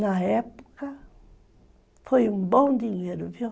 Na época, foi um bom dinheiro, viu?